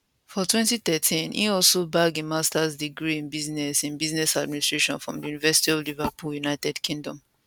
for 2013 im also bag im masters degree in business in business administration from di university of liverpool united kingdom